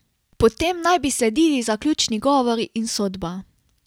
Potem naj bi sledili zaključni govori in sodba.